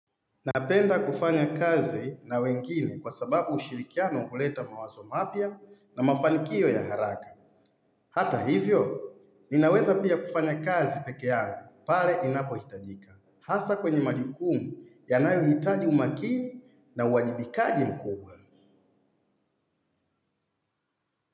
Napenda kufanya kazi na wengine kwa sababu ushirikiano uleta mawazo mapya na mafanikio ya haraka. Hata hivyo, ninaweza pia kufanya kazi peke yangu pale inapo hitajika. Hasa kwenye majukumu ya nayohitaji umakini na uwajibikaji mkubwa.